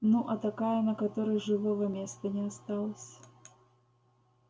ну а такая на которой живого места не осталось